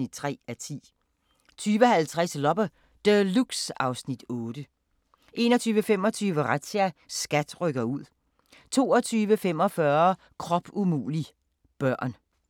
Torsdag d. 2. juni 2016